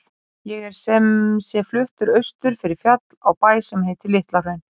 Ég er sem sé fluttur austur fyrir fjall, á bæ sem heitir LitlaHraun.